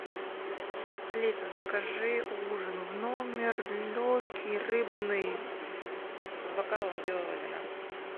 алиса закажи ужин в номер легкий рыбный с бокалом белого вина